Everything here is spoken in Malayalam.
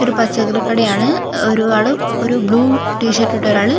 ഇതൊര് പച്ചക്കറി കടയാണ് ഒര് ഒരാള് ഒരു ബ്ലു ടീ ഷർട്ട് ഇട്ട ഒരാള്--